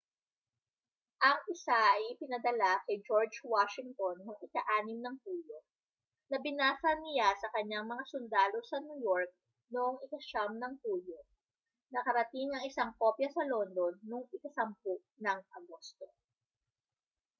ang isa ay ipinadala kay george washington noong hulyo 6 na binasa niya sa kaniyang mga sundalo sa new york noong hulyo 9 nakarating ang isang kopya sa london noong agosto 10